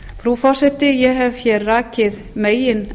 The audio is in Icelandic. frú forseti ég hef rakið meginefni